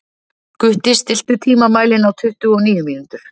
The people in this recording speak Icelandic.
Gutti, stilltu tímamælinn á tuttugu og níu mínútur.